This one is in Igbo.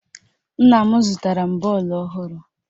Nna m zụtara m bọọlụ ọhụrụ